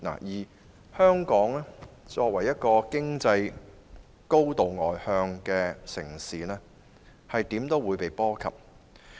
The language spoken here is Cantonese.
香港作為經濟高度外向的城市，無論如何也會被波及。